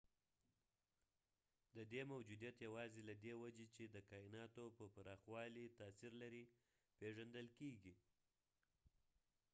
ددې موجودیت یواځې له دې وجې چې د کایناتو پر پراخوالي تاثیر لري پیژندل کیږي